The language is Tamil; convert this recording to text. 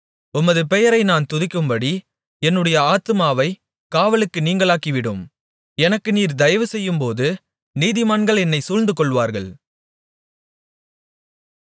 உமது பெயரை நான் துதிக்கும்படி என்னுடைய ஆத்துமாவைக் காவலுக்கு நீங்கலாக்கிவிடும் எனக்கு நீர் தயவு செய்யும்போது நீதிமான்கள் என்னைச் சூழ்ந்துகொள்ளுவார்கள்